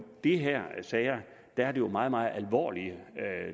de her sager er det jo meget meget alvorlige